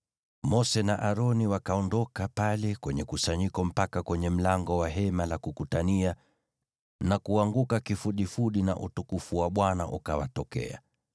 Mose na Aroni wakaondoka pale kwenye kusanyiko mpaka kwenye mlango wa Hema la Kukutania na kuanguka kifudifudi, nao utukufu wa Bwana ukawatokea.